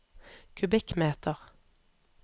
kubikkmeter